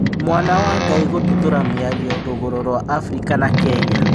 mwana wa Ngai' gũtuthũra mĩario Rũgũrũ rwa Afirika na Kenya